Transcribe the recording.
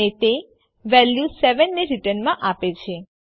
અને તે વેલ્યુ ૭ ને રીટર્નમાં આપે છે